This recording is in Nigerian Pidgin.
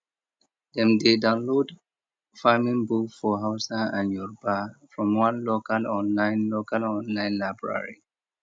dem dey download farming book for hausa and yoruba from one local online local online library